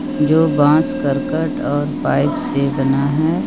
जो बाँस करकट और पाइप से बना है।